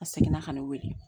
A seginna ka ne weele